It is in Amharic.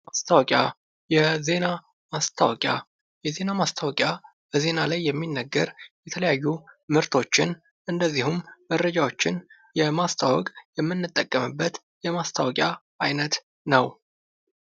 ማስታወቂያ የዜና ማስታወቂያ የዜና ማስታወቂያ በዜና ላይ የሚናገር የተለያዩ ምርቶችን እንደዚሁም መረጃዎችን ለማስታወቅ የምንጠቀምበት የማስታወቂያ አይነት ነው።